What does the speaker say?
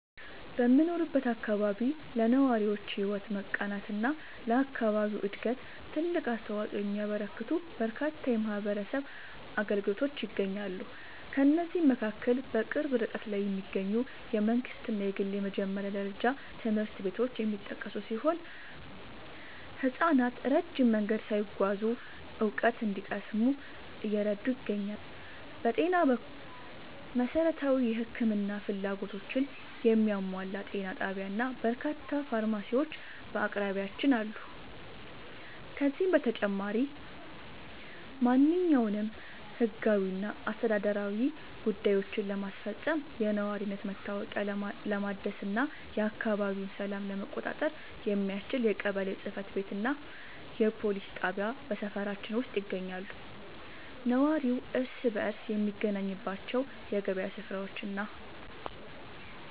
በምኖርበት አካባቢ ለነዋሪዎች ሕይወት መቃናትና ለአካባቢው ዕድገት ትልቅ አስተዋፅኦ የሚያበረክቱ በርካታ የማኅበረሰብ አገልግሎቶች ይገኛሉ። ከእነዚህም መካከል በቅርብ ርቀት ላይ የሚገኙ የመንግሥትና የግል የመጀመሪያ ደረጃ ትምህርት ቤቶች የሚጠቀሱ ሲሆን፣ ሕፃናት ረጅም መንገድ ሳይጓዙ እውቀት እንዲቀስሙ እየረዱ ይገኛሉ። በጤና በኩል፣ መሠረታዊ የሕክምና ፍላጎቶችን የሚያሟላ ጤና ጣቢያና በርካታ ፋርማሲዎች በአቅራቢያችን አሉ። ከዚህም በተጨማሪ፣ ማንኛውንም ሕጋዊና አስተዳደራዊ ጉዳዮችን ለማስፈጸም፣ የነዋሪነት መታወቂያ ለማደስና የአካባቢውን ሰላም ለመቆጣጠር የሚያስችል የቀበሌ ጽሕፈት ቤትና የፖሊስ ጣቢያ በሰፈራችን ውስጥ ይገኛሉ። ነዋሪው እርስ በርስ የሚገናኝባቸው የገበያ ሥፍራዎችና